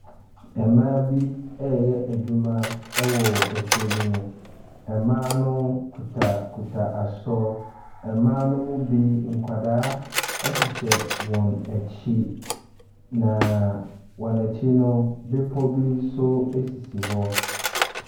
Mmaa bi ɛreyɛ adwuma ɛwɔ afuo bi mu. Mmaa no kutakuta asɔ. Mmaa no mu bi nkwadaa hyehyɛ wɔn akyi. Na wɔn akyi no bepɔ bi nso esisi hɔ.